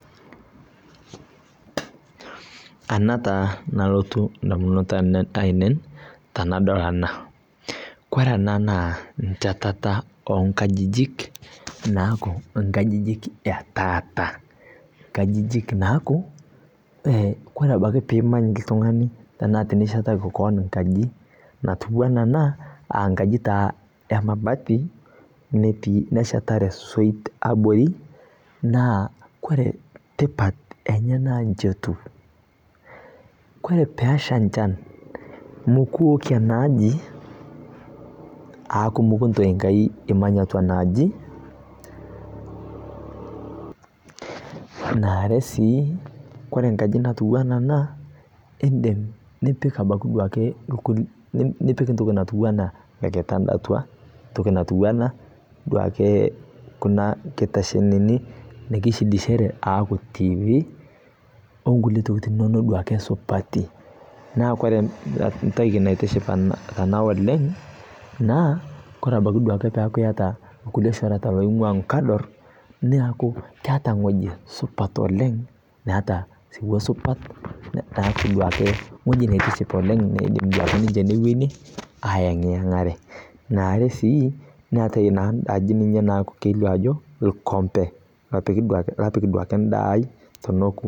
Ena taa nalotu indamunot aainei tenadol ena. Ore ena naa enchetata o nkajijik, neaku inkajijik e taata, inkajijik naaku Kore ebaiki piimany oltung'ani ashu nishetaki kewon enkaji natiu anaa ena, enkaji taa emabati , neahetare esoit abori, naa ore tipat enye naa ai sapuk. Ore peesha enchan, mekioki tenaaji, aaku intokitin naamany enaaji. Ene are sii ore enkaji natiu anaa ena , indim nipik abaiki duo ake, nipik entoki naijo olkitanda atua, entoki natiu anaa diluake Kuna kitesheni nikishilishore aaku tiifi, o nkulie tokitin inono duake supati. Naa ore entoki naitiship tena oleng' naa Kore ebaiki Kore duake iata kulie shoreta oing'ua nkador, neaku keata ewueji supat oleng' naata ewueji supat, naake keitiship oleng', eidim ake ninche newueni aeng'ieng'are. Ene are sii neatai inaaji naa keatai ajo ilkompe lapik duake endaai teneoku.